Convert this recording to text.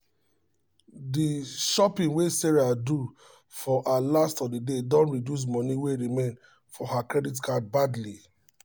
the shopping wey sarah do for her last holiday don reduce money wey remain for her credit card badly